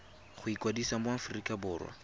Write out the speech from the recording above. go ikwadisa mo aforika borwa